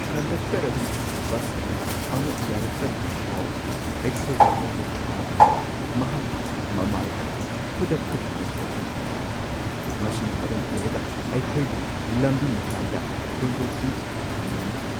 Conductor ꯑꯗꯨꯅ bus ꯑꯗꯨ ꯑꯃꯨꯛ ꯌꯥꯔꯛꯇꯕꯒꯤ ꯄꯥꯎ ꯑꯗꯨ ꯑꯩꯈꯣꯏꯗ ꯐꯣꯡꯗꯣꯛꯂꯛꯄ ꯃꯇꯝꯗ ꯃꯍꯥꯛꯀꯤ ꯃꯃꯥꯏ ꯑꯗꯨ ꯈꯨꯗꯛꯇ ꯅꯨꯡꯉꯥꯏꯇꯕꯒꯤ ꯃꯃꯤ ꯇꯥꯈꯤ, ꯃꯁꯤꯅ ꯃꯔꯝ ꯑꯣꯏꯔꯒ ꯑꯩꯈꯣꯏꯕꯨ ꯂꯝꯕꯤ ꯃꯇꯥꯏꯗ ꯍꯨꯟꯗꯣꯛꯇꯨꯅ ꯊꯝꯕꯤꯔꯝꯈꯤ ꯫